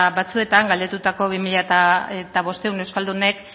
batzuetan galdetutako bi mila bostehun euskaldunek